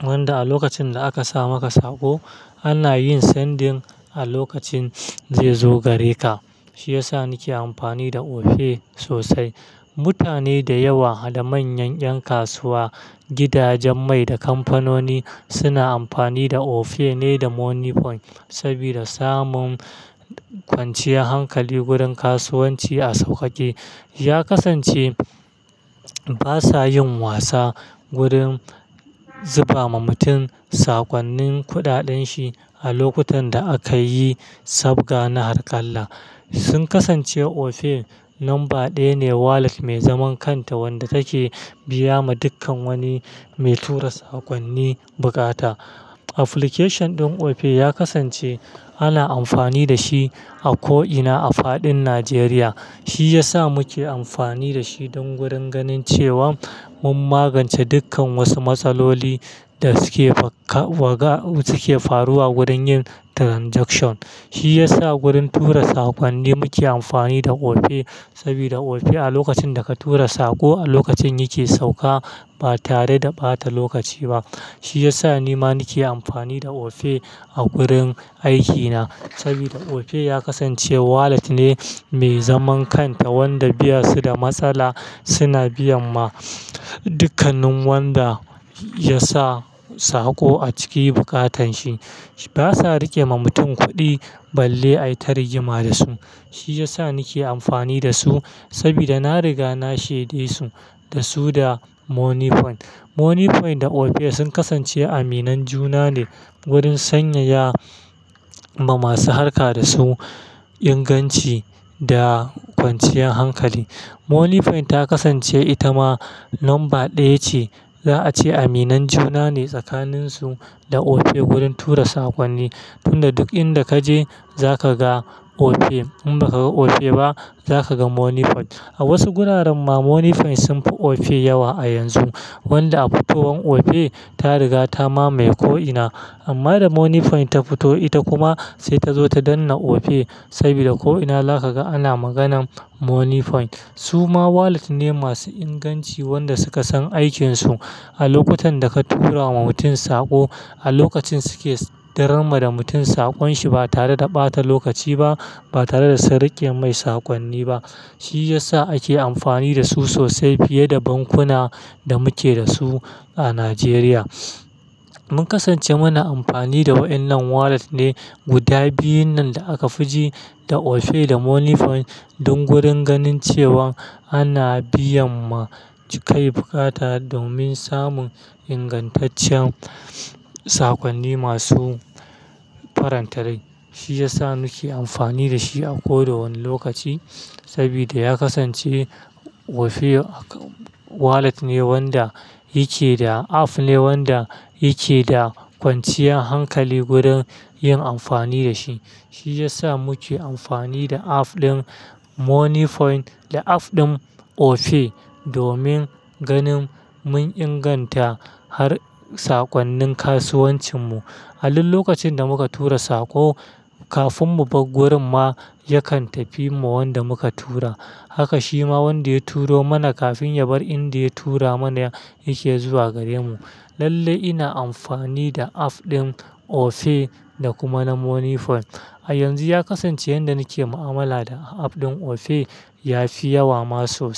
wanda a lokacin da aka sa maka saƙo, ana yin sending a lokacin zai zo gare ka. Shi ya sa nake amfani da Opay sosai. Mutane da yawa da manyan 'yan kasuwa, gidajen mai da kamfanoni suna amfani da Opay ne da Moniepoint, sabida samun kwanciyar hankali gurin kasuwanci a sauƙaƙe. Ya kasance basa yin wasa gurin zuba ma mutum sakonnin kuɗaɗen shi a lokutan da akayi sabga na harƙalla. Sun kasance Opay lamba ɗaya ne wallet mai zaman kanta wanda take biya ma dukkan wani mai tura sakonni bukata. Application din Opay ya kasance ana amfani da shi a ko'ina a fadin Najeriya. Shi ya sa muke amfani da shi don gurin ganin cewan mun magance dukkan wasu matsaloli da suke faruwa gurin yin transaction. Shi yasa gurin tura sakonni muke amfani da Opay, sabida Opay a lokacin da ka tura saƙo a lokacin yake sauka ba tare da ɓata lokaci ba. Shi ya sa ni ma nake amfani da Opay a gurin aikina. Sabida Opay ya kasance wallet ne mai zaman kanta wanda ba su da matsala suna biyan ma dukkanin wanda ya sa saƙo a ciki bukatan shi. Basa riƙe ma mutum kuɗi balle ai tare gima da su. Shi yasa nake amfani da su, sabida na riga na shaide su da su da Moniepoint. Moniepoint da Opay sun kasance aminan juna ne gurin sanyaya ma masu harka da su inganci da kwanciyar hankali. Moniepoint ta kasance ita ma lamba ɗaya ce. Za a ce aminan juna ne tsakanin su da Opay gurin tura sakonni. Tunda duk inda ka je za ka ga Opay. In baka ga Opay ba, za ka ga Moniepoint. A wasu guraren ma Moniepoint sunfi Opay yawa a yanzu. Wanda a futowan Opay ta riga ta mamaye ko'ina. Amma da Moniepoint ta fito ita kuma sai ta zo ta danne Opay, sabida ko'ina zaka ga ana maganan Moniepoint. Su ma wallet ne masu inganci wanda suka san aikin su. A lokutan da ka tura ma mutum saƙo, a lokacin suke diran ma da mutum saƙon shi ba tare da ɓata lokaci ba, ba tare da su riƙe mai sakonni ba. Shi ya sa ake amfani da su sosai fiye da bankuna da muke da su a Najeriya. Mun kasance muna amfani da wa'innan wallet ne guda biyun nan da aka fi ji, da Opay da Moniepoint don gurin ganin cewan ana biyan ma cikan bukata domin samun ingantaccen sakonni masu farantale. Shi ya sa nake amfani da shi a ko da wani lokaci. Sabida ya kasance Opay wallet ne wanda yake da app ne wanda yake da kwanciyar hankali gurin yin amfani da shi. Shi ya sa muke amfani da app din Moniepoint da app din Opay domin ganin mun inganta har sakonnin kasuwancin mu. A duk lokacin da muka tura saƙo, kafin mu bar gurin ma yakan tafi ma wanda muka tura. Haka shi ma wanda ya turo mana kafin ya bar inda ya tura mana yake zuwa gare mu. Lalle ina amfani da app din Opay da kuma na Moniepoint. A yanzu ya kasance yanda nake mu'amala da app din Opay ya fi yawa ma sosai.